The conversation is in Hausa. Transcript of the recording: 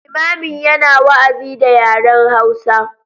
Limamin yana wa’azi da yaren hausa.